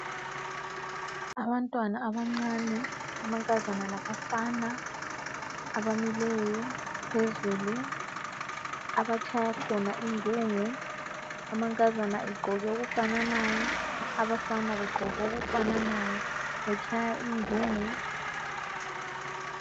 Abantwana abancane amankazana labafana abamileyo phezulu. Abatshaya khona ingungu, amankazana egqoke okufananayo. Abafana begqoke okufananayo betshaya ingungu .